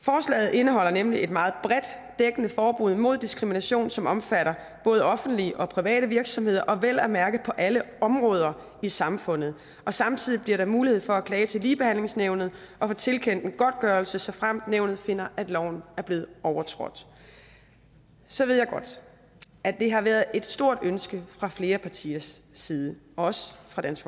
indeholder nemlig et meget bredt dækkende forbud mod diskrimination som omfatter både offentlige og private virksomheder og vel at mærke på alle områder i samfundet og samtidig bliver der mulighed for at klage til ligebehandlingsnævnet og få tilkendt en godtgørelse såfremt nævnet finder at loven er blevet overtrådt så ved jeg godt at det har været et stort ønske fra flere partiers side også fra dansk